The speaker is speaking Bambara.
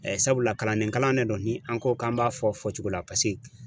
Sabula kalandenkalan de don ni an ko k'an b'a fɔ fɔ cogo la paseke